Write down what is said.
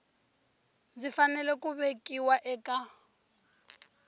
swi fanele ku vekiwa eka